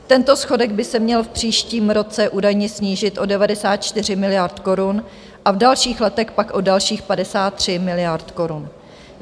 Tento schodek by se měl v příštím roce údajně snížit o 94 miliard korun a v dalších letech pak o dalších 53 miliard korun.